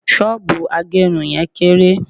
soobu agerun yen kere